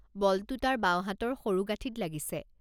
বলটো তাৰ বাওঁ হাতৰ সৰুগাঁঠিঁত লাগিছে।